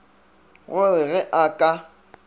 go re ge a ka